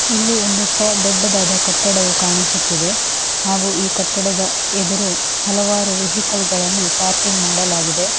ಇಲ್ಲಿ ಒಂದು ದೊಡ್ಡದಾದ ಕಟ್ಟಡವು ಕಾಣಿಸುತ್ತಿದೆ ಈ ಕಟ್ಟಡದ ಎದುರು ಹಲವಾರು ವಹಿಕಲ್ಗಳನ್ನು ಪಾರ್ಕಿಂಗ್ ಮಾಡಲಾಗಿದೆ .